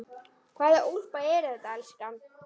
Hvaða úlpa er þetta, elskan?